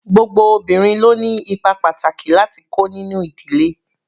Gbogbo obìnrin ló ni ipa pàtàkì láti kó nínú ìdílé.